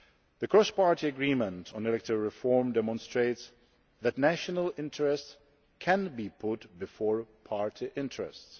The cross party agreement on electoral reform demonstrates that national interests can be put before party interests.